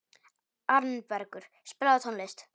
Arnbergur, spilaðu tónlist.